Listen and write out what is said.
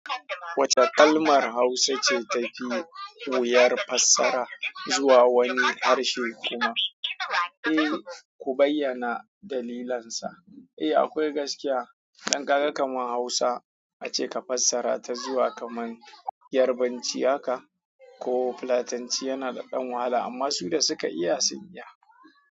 Wace kalmar Hausa ce ta fi wuyar fassara zuwa wani harshe kuma, eh ku bayyana dalilansa? Eh akwai gaskiya, ɗan kaga kamar Hausa ace ka fassara ta zuwa kamar Yarbanci haka ko Fulatanci yana da ɗan wahala amma su da suka iya sun iya.